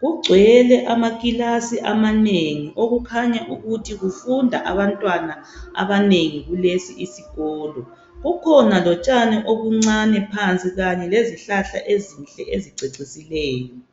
.Kugcwele amakilasi amanengi okukhanya ukuthi kufunda abantwana abanengi kulesi isikolo .Kukhona lotshani obuncane phansi . Kanye lezihlahla ezinhle ezicecisileyo .